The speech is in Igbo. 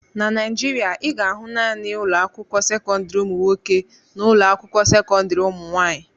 Na Naijiria, ị ga-ahụ naanị ụlọ akwụkwọ sekọndrị ụmụ nwoke na ụlọ akwụkwọ sekọndrị ụmụ nwaanyị.